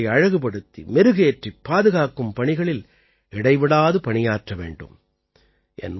நாமும் அவற்றை அழகுபடுத்திமெருகேற்றிப் பாதுகாக்கும் பணிகளில் இடைவிடாது பணியாற்ற வேண்டும்